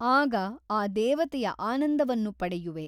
ಆಗ ಆ ದೇವತೆಯ ಆನಂದವನ್ನು ಪಡೆಯುವೆ.